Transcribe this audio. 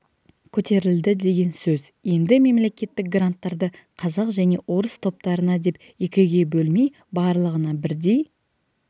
көтерілді деген сөз енді мемлекеттік гранттарды қазақ және орыс топтарына деп екіге бөлмей барлығына бірдей